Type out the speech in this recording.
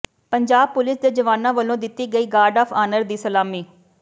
Punjab police ਦੇ ਜਵਾਨਾਂ ਵੱਲੋਂ ਦਿੱਤੀ ਗਈ ਗਾਰਡ ਆਫ ਆਨਰ ਦੀ ਸਲਾਮੀ